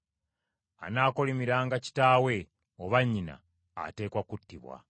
“Anaakolimiranga kitaawe oba nnyina ateekwa kuttibwa.